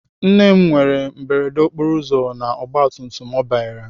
Nne m nwere mberede okporoụzọ na ọgbatumtum ọ banyere.